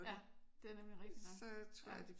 Ja det er nemlig rigtigt nok